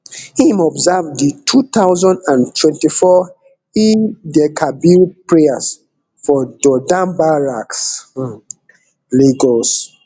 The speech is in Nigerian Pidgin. im observe di two thousand and twenty-four eidelkabir prayers for dodan barracks um lagos